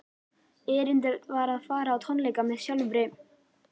Erindið var að fara á tónleika með sjálfri